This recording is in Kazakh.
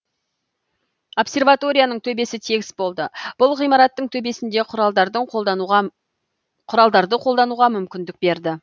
обсерваторияның төбесі тегіс болды бұл ғимараттың төбесінде құралдарды қолдануға мүмкіндік берді